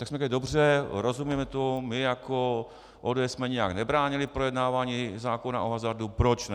Tak jsme řekli, dobře, rozumíme tomu, my jako ODS jsme nijak nebránili projednávání zákona o hazardu, proč ne.